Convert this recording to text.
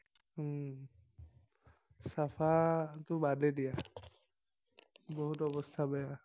উম চাফাটো বাদে দিয়া, বহুত অৱস্থা বেয়া।